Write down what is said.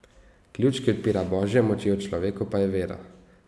Ključ, ki odpira Božje moči v človeku, pa je vera.